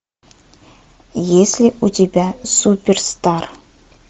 есть ли у тебя суперстар